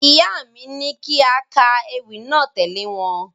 Ìyá mi ní kí a ka ewì náà tẹ̀lé wọn.